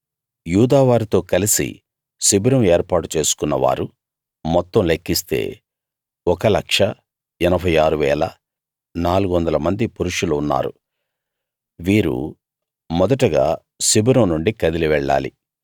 యూదా వారితో కలసి శిబిరం ఏర్పాటు చేసుకున్న వారు మొత్తం లెక్కిస్తే 1 86 400 మంది పురుషులు ఉన్నారు వీరు మొదటగా శిబిరం నుండి కదిలి వెళ్ళాలి